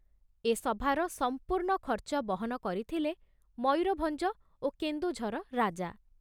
ଏ ସଭାର ସମ୍ପୂର୍ଣ୍ଣ ଖର୍ଚ୍ଚ ବହନ କରିଥିଲେ ମୟୂରଭଞ୍ଜ ଓ କେନ୍ଦୁଝର ରାଜା।